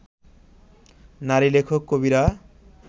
নারী-লেখক-কবিরা